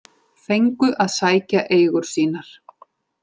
Fengu að sækja eigur sínar